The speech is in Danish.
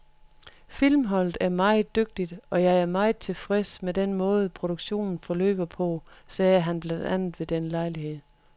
Filmholdet er meget dygtigt og jeg er meget tilfreds med den måde, produktionen forløber på, sagde han blandt andet ved den lejlighed.